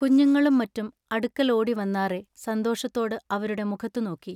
കുഞ്ഞുങ്ങളും മറ്റും അടുക്കൽ ഓടി വന്നാറെ സന്തോഷത്തോടു അവരുടെ മുഖത്തു നോക്കി.